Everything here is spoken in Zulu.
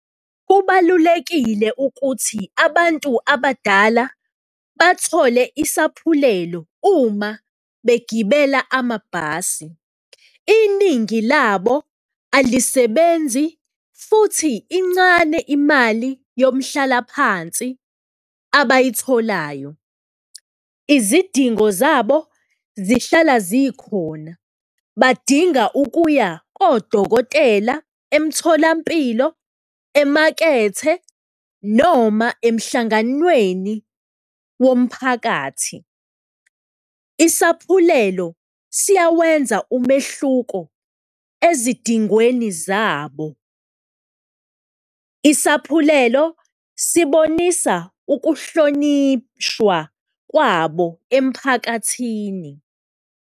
Kubalulekile ukuthi abantu abadala bathole isaphulelo uma begibela amabhasi, iningi labo alisebenzi futhi incane imali yomhlalaphansi abayitholayo. Izidingo zabo zihlala zikhona, badinga ukuya kodokotela, emtholampilo, emakethe noma emhlanganweni womphakathi. Isaphulelo siyawenza umehluko ezidingweni zabo, isaphulelo sibonisa ukuhlonishwa kwabo emphakathini.